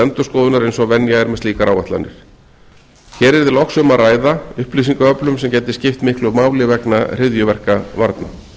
endurskoðunar eins og venja er með slíkar áætlanir hér yrði loks um að ræða upplýsingaöflun sem gæti skipt miklu máli vegna hryðjuverkavarna